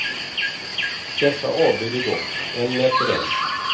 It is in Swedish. Dessa avböjde dock, en efter en.